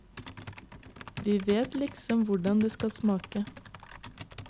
Vi vet liksom hvordan det skal smake.